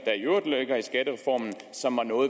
der i skattereformen som